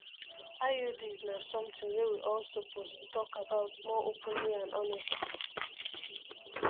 iuds na something wey we all suppose talk about more openly and honestly